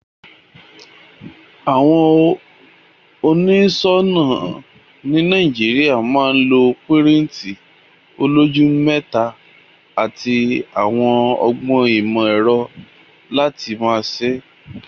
Àwon onísònà ni Naijiria ma lọ pirinti oloju meta àti àwon ogbón ìmò èro láti ma se.